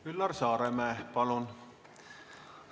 Üllar Saaremäe, palun!